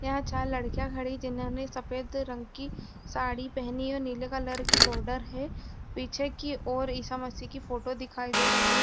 यहाँ चार लड़कियां खड़ी हैं जिनने अपनी सफ़ेद रंग की साड़ी पहनी है और नीले कलर की बॉर्डर है। पीछे की ओर इसा मसीह की फोटो दिखाई दे रही --